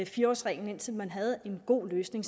fire årsreglen indtil man havde en god løsning